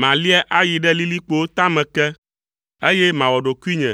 Malia ayi ɖe lilikpowo tame ke, eye mawɔ ɖokuinye